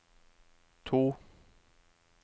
to